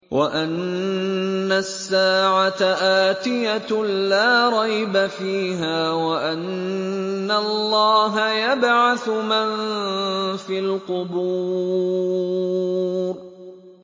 وَأَنَّ السَّاعَةَ آتِيَةٌ لَّا رَيْبَ فِيهَا وَأَنَّ اللَّهَ يَبْعَثُ مَن فِي الْقُبُورِ